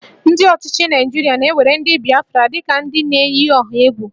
Ndị ọchịchị Naịjirịa na-ewere ndị Bịafra dị ka ndị na-eyi ọha egwu